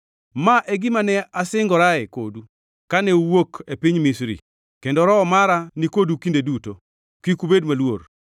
‘Ma e gima ne asingorae kodu kane uwuok e piny Misri. Kendo Roho mara nikodu kinde duto. Kik ubed maluor.’